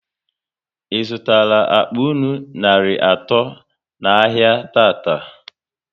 ị zụtara akpa nnu narị atọ n'ahia tata?